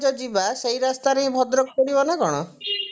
ଘଟଗାଁ ଯଉ ଯିବା ସେଇ ରାସ୍ତାରେ ଭଦ୍ରକ ପଡିବ ନା କଣ